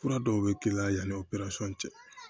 Fura dɔw bɛ k'i la yanni o peresɔn cɛ